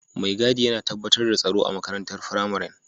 Mai gadi yana tabbatar da tsaro a makarantar firamaren.